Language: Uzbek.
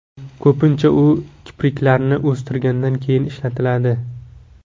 Ko‘pincha u kipriklarni o‘stirgandan keyin ishlatiladi.